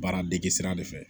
Baaradege sira de fɛ